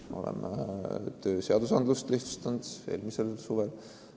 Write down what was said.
Me oleme lihtsustanud tööseadustikku – see oli eelmisel suvel.